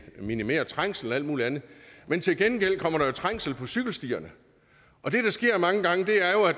minimerer trængslen og alt muligt andet men til gengæld kommer der jo trængsel på cykelstierne og det der sker mange gange er jo at